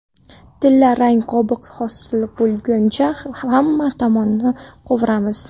Tilla rang qobiq hosil bo‘lguncha hamma tomonini qovuramiz.